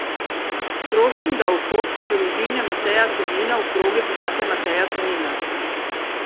Prosim da v fotko družine Mateja Tonina v krogec date Mateja Tonina.